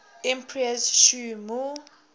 emperor sh mu